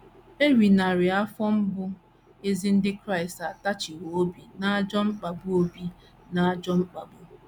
Eri narị afọ mbụ, ezi ndị Kraịst atachiwo obi n’ajọ mkpagbu obi n’ajọ mkpagbu.